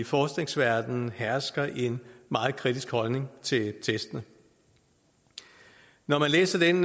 forskningsverdenen hersker en meget kritisk holdning til testene når man læser den